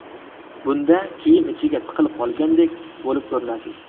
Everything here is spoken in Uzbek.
Bunda kiyim ichiga tiqilib qolgandek bo‘lib ko‘rinasiz.